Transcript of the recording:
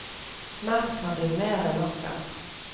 Melk hadde hun mer enn nok av.